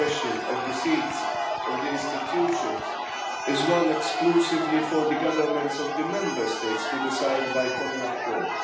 The question of the seats of the institutions is one exclusively for the governments of the Member States to decide by common accord.